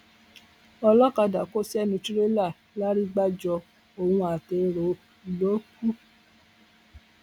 ọlọkadà kò sẹnu tìrẹlà làrigbájọ òun àtẹrọ ló kù